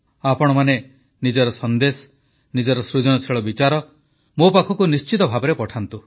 ଆପଣମାନେ ନିଜର ସନେ୍ଦଶ ନିଜର ସୃଜନଶୀଳ ବିଚାର ମୋ ପାଖକୁ ନିଶ୍ଚିତ ଭାବେ ପଠାନ୍ତୁ